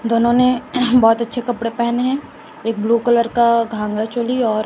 दोनों ने बहोत अच्छे कपड़े पहने हैं एक ब्लू कलर का घाघर चोली और--